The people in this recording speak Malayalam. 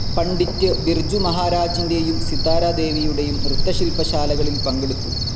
പണ്ഡിറ്റ് ബിർജു മഹാരാജിൻ്റെയും സിതാര ദേവിയുടെയും നൃത്ത ശില്പശാലകളിൽ പങ്കെടുത്തു.